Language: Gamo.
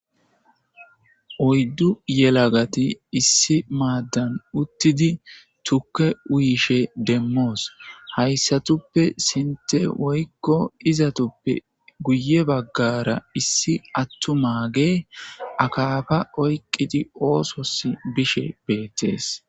Oyddu yelagati issi maaddan uttidi tukke wuyishe demmoos hayssatuppe sinte woykko izatuppe guye baggara issi attumaage akaafa oyqqidi oosos bishe beettees.